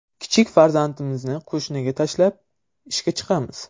Kichik farzandimizni qo‘shniga tashlab, ishga chiqamiz”.